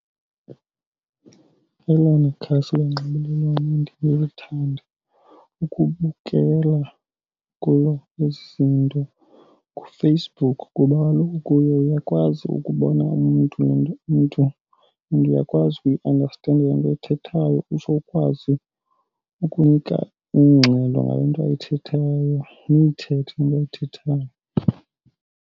Elona khasi lonxibelelwano ukubukela kulo izintu nguFacebook ngoba kaloku kuyo uyakwazi ukubona umntu le nto umntu and uyakwazi ukuyiandastenda le nto ayithethayo utsho ukwazi ukunika ingxelo ngale nto ayithethayo niyithethe into ayithethayo.